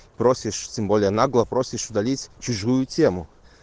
спросишь тем более нагло просишь удалить чужую тему